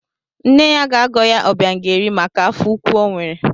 Nne ya ga-agọ ya Obiageri maka afọ ukwu o nwere.